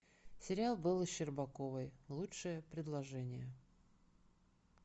сериал бэлы щербаковой лучшее предложение